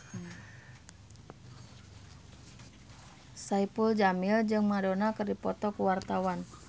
Saipul Jamil jeung Madonna keur dipoto ku wartawan